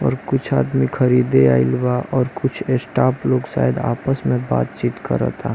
और कुछ आदमी खरीदे आइल बा और कुछ षड आपस में कुछ बात चीत करत बा--